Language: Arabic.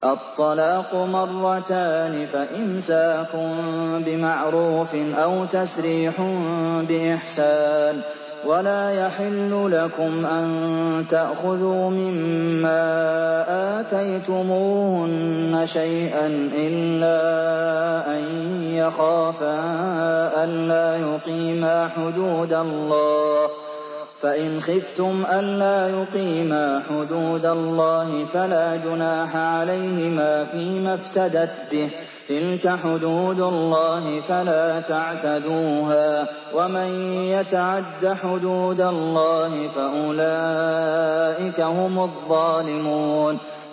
الطَّلَاقُ مَرَّتَانِ ۖ فَإِمْسَاكٌ بِمَعْرُوفٍ أَوْ تَسْرِيحٌ بِإِحْسَانٍ ۗ وَلَا يَحِلُّ لَكُمْ أَن تَأْخُذُوا مِمَّا آتَيْتُمُوهُنَّ شَيْئًا إِلَّا أَن يَخَافَا أَلَّا يُقِيمَا حُدُودَ اللَّهِ ۖ فَإِنْ خِفْتُمْ أَلَّا يُقِيمَا حُدُودَ اللَّهِ فَلَا جُنَاحَ عَلَيْهِمَا فِيمَا افْتَدَتْ بِهِ ۗ تِلْكَ حُدُودُ اللَّهِ فَلَا تَعْتَدُوهَا ۚ وَمَن يَتَعَدَّ حُدُودَ اللَّهِ فَأُولَٰئِكَ هُمُ الظَّالِمُونَ